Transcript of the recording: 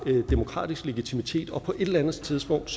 demokratisk legitimitet og på et eller andet tidspunkt